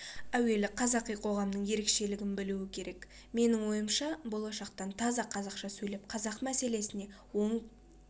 әуелі қазақи қоғамның ерекшелігін білу керек менің ойымша болашақтан таза қазақша сөйлеп қазақ мәселесіне оң